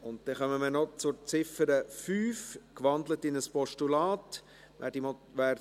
Wir kommen noch zur Ziffer 5, die in ein Postulat gewandelt wurde.